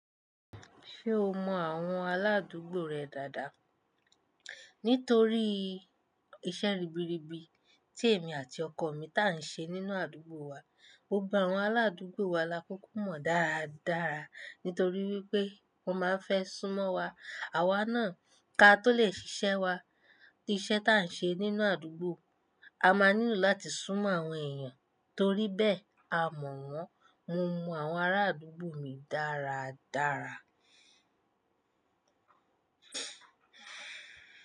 Ṣé o mọ àwọn aládùúgbò rẹ dáadáa? Nítorí iṣẹ́ ribiribi tí èmi àti ọkọ mi tá ń ṣe nínú àdúgbò wa, gbogbo àwọn aládùúgbò wa lákuku mọ dáradára nítorí wípé wọ́n máa ń fẹ́ súnmọ́ wa, àwa náà ká tó lè ṣiṣẹ́ wa. Iṣẹ́ tá ń ṣe nínú àdúgbò, a máa nílò láti súnmọ́ àwọn èèyàn toríbẹ́ẹ̀ a mọ̀ wọ́n. Mo mọ àwọn ará àdúgbò mi dáradára.